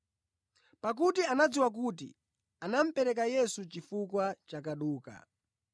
Pakuti anadziwa kuti anamupereka Yesu chifukwa cha kaduka.